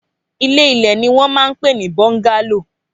Ilé ilè ni wón man pe ni bóńgálò